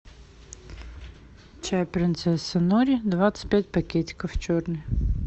чай принцесса нури двадцать пять пакетиков черный